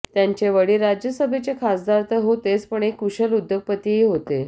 त्यांचे वडील राज्यसभेचे खासदार तर होतेच पण एक कुशल उद्योगपतीही होते